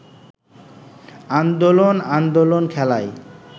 আন্দোলন আন্দোলন খেলায়